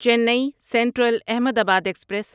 چینی central Ahmedabad express